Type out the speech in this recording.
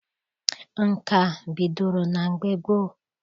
Nka bidoro na mgbe gboo.